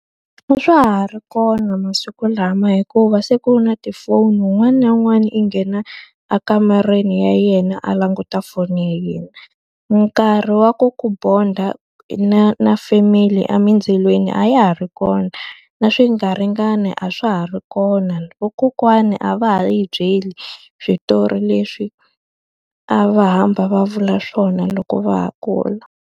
A swa ha ri kona masiku lama hikuva se ku na tifoni un'wana na un'wana i nghena ekamareni ya yena a languta foni ya yena. Nkarhi wa ku ku bond-a na na family a mindzilweni a ya ha ri kona, na swingaringani a swa ha ri kona. Vakokwana a va ha hi byeli switori leswi a va hamba va vula swona loko va ha kula.